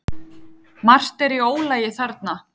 Margt er í ólagi þarna.